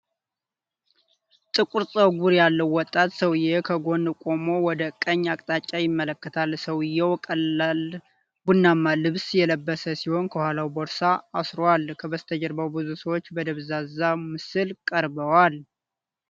ጥቁር ፀጉር ያለው ወጣት ሰውዬ ከጎን ቆሞ ወደ ቀኝ አቅጣጫ ይመለከታል፡፡ ሰውየው ቀላል ቡናማ ልብስ የለበሰ ሲሆን ከኋላው ቦርሳ አስሯል፡፡ ከበስተጀርባው ብዙ ሰዎች በደብዛዛ ምስል ቀርበዋል፡፡